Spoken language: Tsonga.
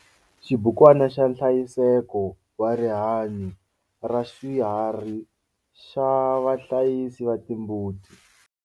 Xibukwana xa nhlayiseko wa rihanyo raswiharhi xa vahlayisi va timbuti.